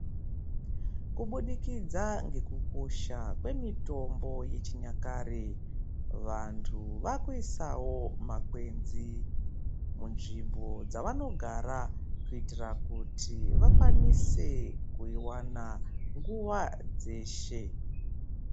Kubudikidza ngekukosha kwemitombo yechinyakare, vantu vaakuisawo makwenzi ,munzvimbo dzavanogara, kuitira kuti vakwanise kuiwana nguwa dzeshe.